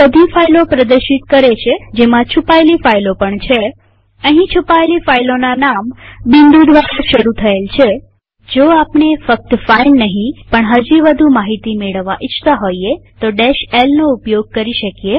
આ બધી ફાઈલો પ્રદર્શિત કરે છે જેમાં છુપાયેલી ફાઈલો પણ છેઅહીં છુપાયેલી ફાઈલોના નામ બિંદુ દ્વારા શરુ થયેલ છે જો આપણે ફક્ત ફાઈલ નહીં પણ હજી વધુ માહિતી મેળવવા ઈચ્છતા હોઈએ તો l નો ઉપયોગ કરી શકીએ